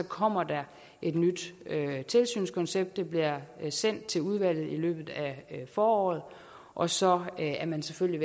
kommer der et nyt tilsynskoncept det bliver sendt til udvalget i løbet af foråret og så er man selvfølgelig